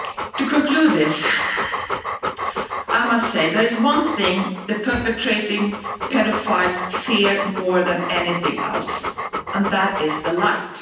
To conclude, I must say that there is one thing that perpetrating paedophiles fear more than anything else, and that is the light.